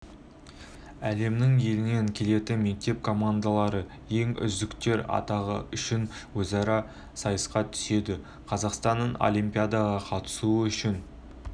әлемнің елінен келетін мектеп командалары ең үздіктер атағы үшін өзара сайысқа түседі қазақстаннан олипиадаға қатысу үшін